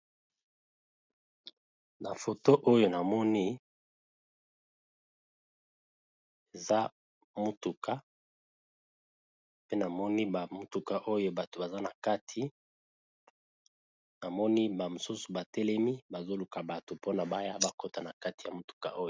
Na foto oyo namoni eza motuka namoni a motuka oyo bato baza na kati namoni bamosusu batelemi bazoluka bato mpona baya bakotana kati ya motuka oyo.